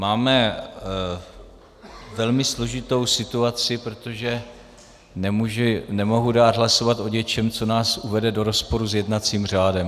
Máme velmi složitou situaci, protože nemohu dát hlasovat o něčem, co nás uvede do rozporu s jednacím řádem.